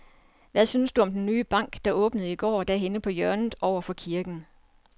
Hvad synes du om den nye bank, der åbnede i går dernede på hjørnet over for kirken?